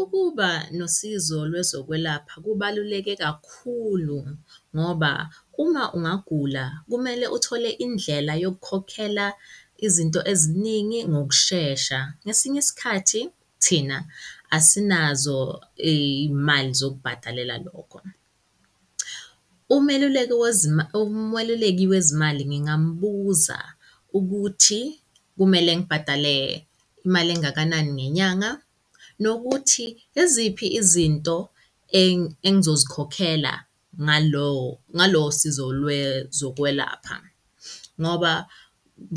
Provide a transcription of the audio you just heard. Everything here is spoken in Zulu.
Ukuba nosizo lwezokwelapha kubaluleke kakhulu ngoba uma ungagula kumele uthole indlela yokukhokhela izinto eziningi ngokushesha. Ngesinye isikhathi thina asinazo imali zokubhadalela lokho. Umeluleki wezima umeluleki wezimali ngingambuza ukuthi kumele ngibhadale imali engakanani ngenyanga nokuthi iziphi izinto engi engizozikhokhela ngalo ngalolo sizo lwezokwelapha ngoba